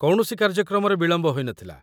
କୌଣସି କାର୍ଯ୍ୟକ୍ରମରେ ବିଳମ୍ବ ହୋଇନଥିଲା